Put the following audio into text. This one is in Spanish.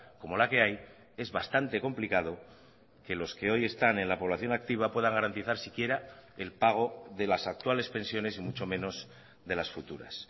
como la que hay es bastante complicado que los que hoy están en la población activa pueda garantizar si quiera el pago de las actuales pensiones y mucho menos de las futuras